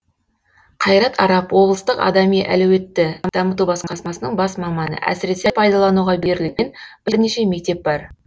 қайрат арап облыстық адами әлеуетті дамыту басқармасының бас маманы әсіресе пайдалануға берілген бірнеше мектеп бар